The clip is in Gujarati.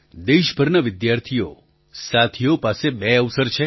દેશભરના વિદ્યાર્થીઓસાથીઓ પાસે બે અવસર છે